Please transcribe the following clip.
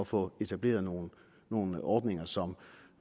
få etableret nogle nogle ordninger som